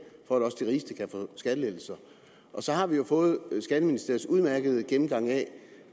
for at også de rigeste kan få skattelettelser og så har vi jo fået skatteministeriets udmærkede gennemgang af